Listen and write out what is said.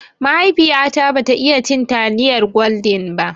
Mahaifiya ta ba ta iya cin taliyar gwaldin ba